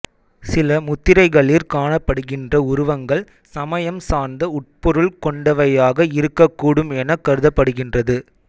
சில முத்திரைகளிற் காணப்படுகின்ற உருவங்கள் சமயம் சார்ந்த உட்பொருள் கொண்டவையாக இருக்கக்கூடும் எனக் கருதப்படுகின்றது